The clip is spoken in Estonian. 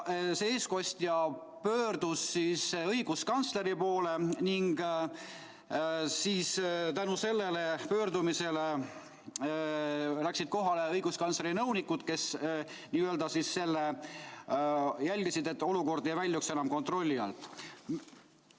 See eestkostja pöördus õiguskantsleri poole ning tänu sellele pöördumisele läksid kohale õiguskantsleri nõunikud, kes jälgisid, et olukord ei väljuks enam kontrolli alt.